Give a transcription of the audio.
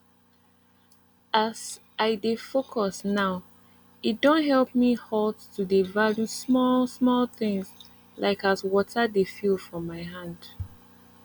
as i dey focus nowe don help me halt to dey value small small things like as water dey feel for my hand